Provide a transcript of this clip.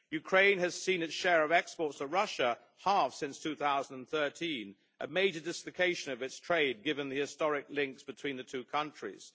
Ukraine has seen its share of exports to Russia halve since 2013, a major dislocation of its trade given the historic links between the two countries.